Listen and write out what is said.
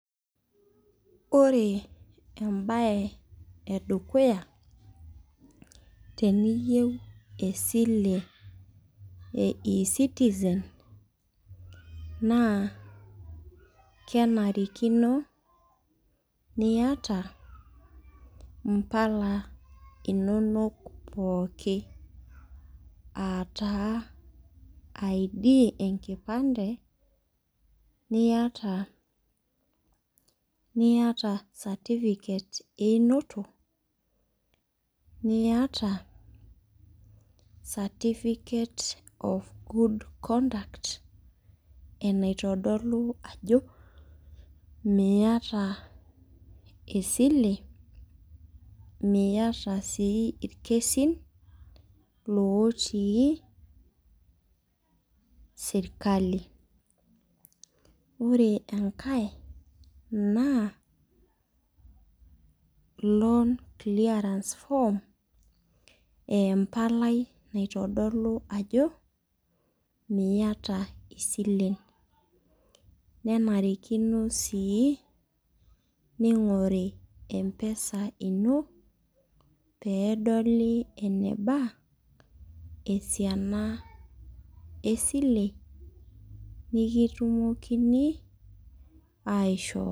Ore embae edukuya teniyieu esile e e citizen naa kenarikino, niyata mpala inonok pooki.aa taa id enkipande. niyata certificate eunoto. niyata, certificate of good conduct enaitodolu ajo Miata esile. miata sii irkesin lotii serkali. ore enkae naa loans clearance form .empalai naitodolu ajo miata isilen. nenarikino sii ningoru empesa ino. pee edoli eneba esiana esile. nikitumokini aishoo.